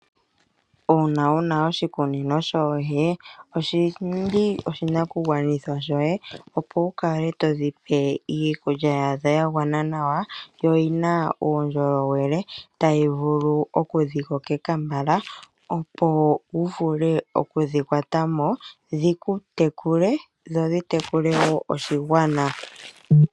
Uuna wu na oshikunino shoohi oshili oshinakugwanithwa shoye opo wu kale to dhi pe iikulya yadho ya gwana nawa noyi na uundjolowele tayi vulu okudhikokeka mbala opo wu vule okudhikwatamo dhikutekule dho dhi tekule wo oshigwana.